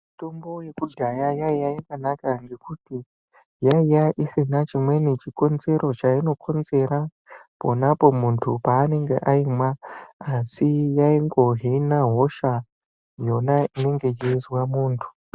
Mitombo yekudhaya yaiya yakanaka ngekuti yaiya isina chimweni chikonzero chainokonzera ponapo muntu paanenge aimwa asi yaingohina hosha yona inonga yeizwa munhu.